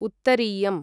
उत्तरीयम्